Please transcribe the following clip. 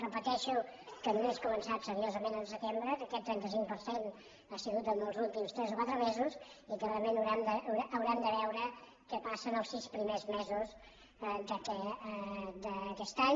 repeteixo que només ha començat seriosament al setembre que aquest trenta cinc per cent ha sigut en els últims tres o quatre mesos i que realment haurem de veure què passa en els sis primers mesos d’aquest any